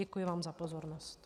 Děkuji vám za pozornost.